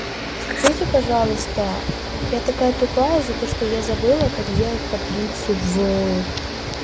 скажите пожалуйста я такая тупая за то что я забыла как делать таблицу в ээ